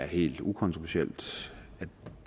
helt ukontroversielt